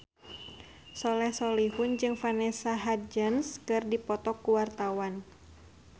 Soleh Solihun jeung Vanessa Hudgens keur dipoto ku wartawan